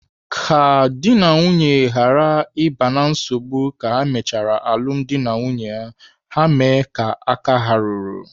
Ka dị na nwunye ghara ịba na nsogbu ka ha mechara alụmdi na nwunye, ha mee ka aka ha ruru.